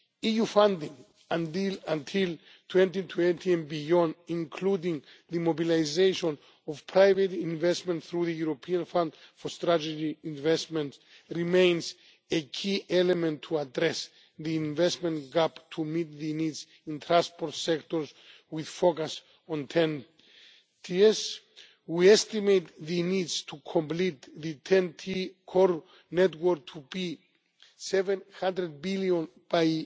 EU funding until 2020 and beyond, including the mobilisation of private investment through the European Fund for Strategic Investment remains a key element to address the investment gap to meet the needs in transport sectors with focus on TEN Ts. We estimate the needs to complete the TEN T core network to be EUR 700 billion